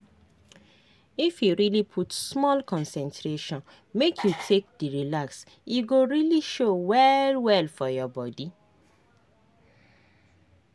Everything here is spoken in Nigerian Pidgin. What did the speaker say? if you really put small concentration make you take dey relax e go really show well well for your body